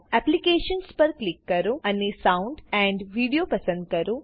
Applicationsપર click કરો અને Soundપસંદ કરો